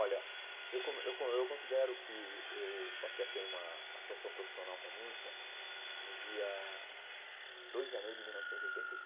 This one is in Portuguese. Olha, eu como eu eu considero que eu passei a ter uma atuação profissional com a música no dia dois de janeiro de mil novecentos e oitenta e seis.